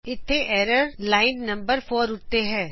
ਇੱਥੇ error line number 4 ਉੱਤੇ ਹੈ